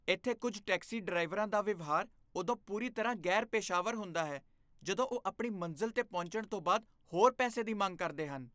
ਇੱਥੇ ਕੁੱਝ ਟੈਕਸੀ ਡਰਾਈਵਰਾਂ ਦਾ ਵਿਵਹਾਰ ਉਦੋਂ ਪੂਰੀ ਤਰ੍ਹਾਂ ਗ਼ੈਰ ਪੇਸ਼ਾਵਰ ਹੁੰਦਾ ਹੈ ਜਦੋਂ ਉਹ ਆਪਣੀ ਮੰਜ਼ਿਲ 'ਤੇ ਪਹੁੰਚਣ ਤੋਂ ਬਾਅਦ ਹੋਰ ਪੈਸੇ ਦੀ ਮੰਗ ਕਰਦੇ ਹਨ